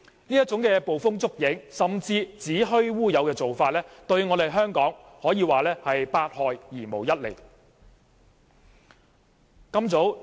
這種捕風捉影甚至子虛烏有的做法，對香港可以說是百害而無一利。